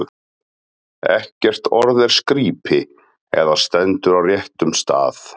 Ekkert orð er skrípi, ef það stendur á réttum stað.